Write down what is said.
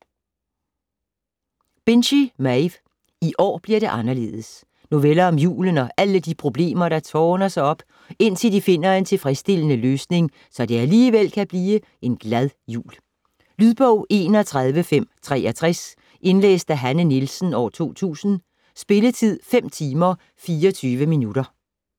Binchy, Maeve: I år bliver det anderledes Noveller om julen og alle de problemer der tårner sig op, indtil de finder en tilfredsstillende løsning, så det alligevel kan blive en glad jul. Lydbog 31563 Indlæst af Hanne Nielsen, 2000. Spilletid: 5 timer, 24 minutter.